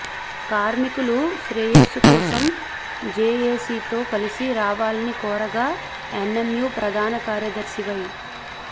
కార్మికుల శ్రేయస్సు కోసం జేఏసీతో కలసి రావాలని కోరగా ఎన్ఎంయూ ప్రధాన కార్యదర్శి వై